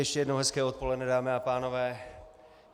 Ještě jednou hezké odpoledne, dámy a pánové.